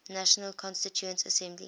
national constituent assembly